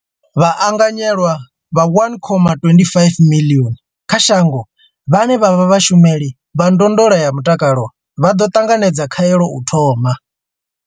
Vhaanganyelwa vha 1.25 miḽioni kha shango vhane vha vha vhashumeli vha ndondolo ya mutakalo vha ḓo ṱanganedza khaelo u thoma.